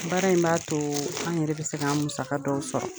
Baara in b'a to an yɛrɛ bɛ se k'an musaka dɔw sɔrɔ.